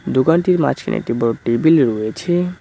দোকানটির মাঝখানে একটি বড়ো টেবিল রয়েছে।